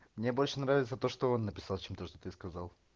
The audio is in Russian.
мне больше нравится то что он написал чем то что ты сказал